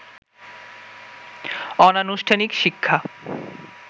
অনানুষ্ঠানিক শিক্ষা